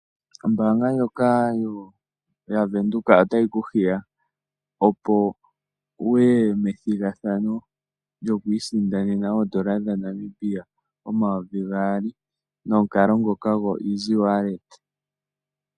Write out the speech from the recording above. Ombanga ndjoka yavenduka otayi kuhiya opo wuye methingathano lyokwisindanena oondola dhaNamibia 2000 nokalo ngoka go izi waleta.